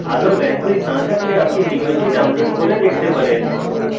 ভাল bandwidth না থাকলে আপনি ভিডিওটি download করে দেখতে পারেন